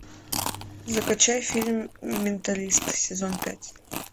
закачай фильм менталист сезон пять